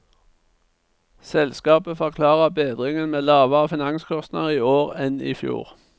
Selskapet forklarer bedringen med lavere finanskostnader i år enn i fjor.